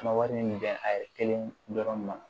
An ka wari min bɛn a ye kelen dɔrɔn ne ma